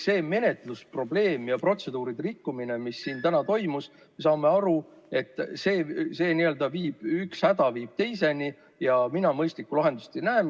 See menetlusprobleem ja protseduuride rikkumine, mis siin täna toimus – me saame aru, et üks häda viib teiseni, ja mina mõistlikku lahendust ei näe.